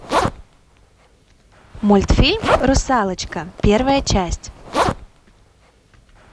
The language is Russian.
мультфильм русалочка первая часть